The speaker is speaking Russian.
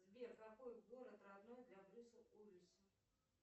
сбер какой город родной для брюса уиллиса